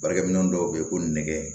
Baarakɛminɛn dɔw bɛ yen ko nɛgɛ